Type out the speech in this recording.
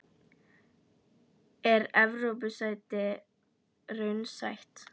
Er Evrópusæti raunsætt?